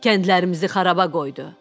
Kəndlərimizi xaraba qoydu.